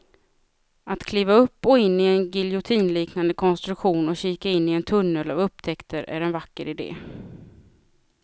Att kliva upp och in i en giljotinliknande konstruktion och kika in i en tunnel av upptäckter är en vacker idé.